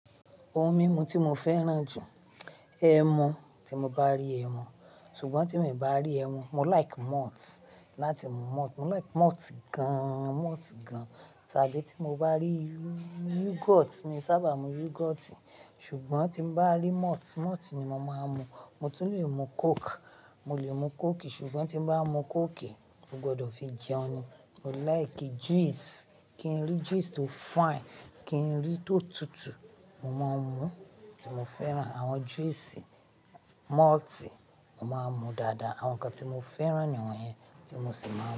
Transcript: Ohun mímu tí mo fẹ́ràn jù, ẹmu, tí mo bá rí ẹmu, ṣùgbọ́n tí mo ì bá rí ẹmu, mo like malt láti mu malt, mo like malt gaaan, malt gaan. Tàbí tí mo bá rí yu-yogurt, mi sábà mú yogurt, ṣùgbọ́n tí mo bá rí malt, malt ni mo máa ń mu. Mo tún leè mu coke, mo lè mu coke, ṣùgbọ́n tí mo bá mu coke, mo gbọdọ̀ fi jẹun. Mo like juice, kí n rí juice tó fine, kí n rí tó tutù, mo máa ń mu, tí mo fẹ́ràn. Àwọn juice malt mo máa ń mu dáadáa. Àwọn nǹkan tí mo fẹ́ràn ni àwọn yẹn tí mo sì máa ń.